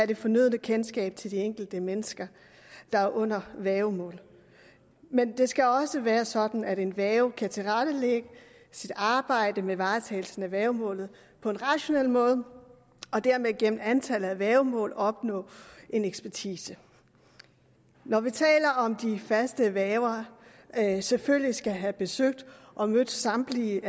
det fornødne kendskab til de enkelte mennesker der er under værgemål men det skal også være sådan at en værge kan tilrettelægge sit arbejde med varetagelsen af værgemålet på en rationel måde og dermed gennem antallet af værgemål opnå en ekspertise når vi taler om at de faste værger selvfølgelig skal have besøgt og mødt samtlige